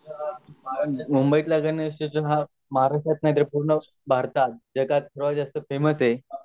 मुंबई त ला गणेश उत्सव हा पूर्ण भारतात जगात फेमस आहे